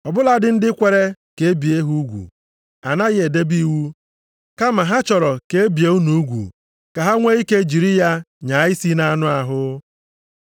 Ọ bụladị ndị kwere ka e bie ha ugwu, anaghị edebe iwu, kama ha chọrọ ka e bie unu ugwu ka ha nwee ike jiri ya nyaa isi nʼanụ ahụ.